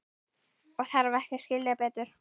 Og þarf ekki að skilja betur.